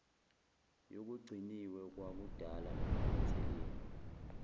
yokugciniwe kwakudala nokuphathelene